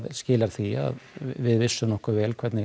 skilar því að við vissum nokkuð vel hvernig